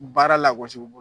Baara lagosi u bolo